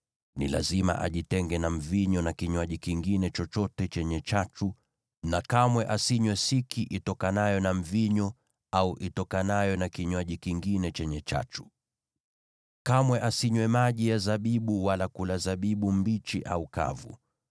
ni lazima ajitenge na mvinyo na kinywaji kingine chochote chenye chachu, na kamwe asinywe siki itokanayo na mvinyo au itokanayo na kinywaji kingine chenye chachu. Kamwe asinywe maji ya zabibu wala kula zabibu mbichi au kavu.